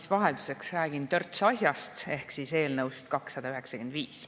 Ma vahelduseks räägin törts asjast ehk eelnõust 295.